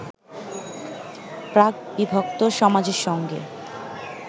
প্রাক-বিভক্ত সমাজের সঙ্গে